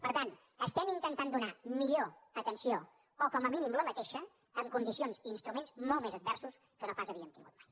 per tant estem intentant donar millor atenció o com a mínim la mateixa amb condicions i instruments molt més adversos que no pas havíem tingut mai